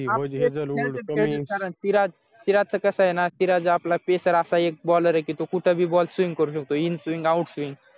श्रीराज श्रीराज च कसा येना श्रीराज आपला special असा एक baller आहे तो कुठेही ball speen करू शकतो in swing out swing